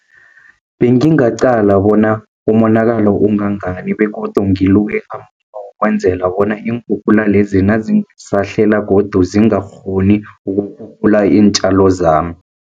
Bengingaqala bona umonakalo ungangani begodu kwenzela bona, iinkhukhula lezi nazingasahlela godu zingakghoni ukurhurhula iintjalo zami.